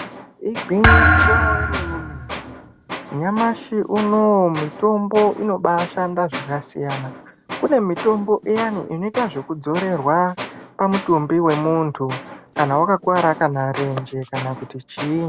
Igwinyiso romene mene nyamashe uno uyu mitombo inobaa shanda zvakasiyana, kune mitombo iyani inoita zvekuzorerwa pamutumbi wemuntu kana wakakuvara kana renje kana kuti chii.